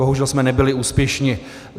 Bohužel jsme nebyli úspěšní.